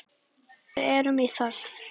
Við erum í þögn.